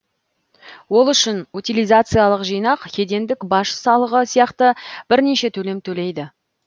ол үшін утилизациялық жинақ кедендік баж салығы сияқты бірнеше төлем төлейді